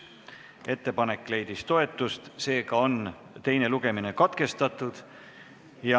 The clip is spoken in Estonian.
Ettepanek leidis toetust, seega on teine lugemine katkestatud.